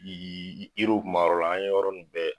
Yiri kun b'a yɔrɔ la, an ye yɔrɔ ninnu bɛɛ